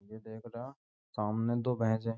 ये देख रा सामने दो भैसें --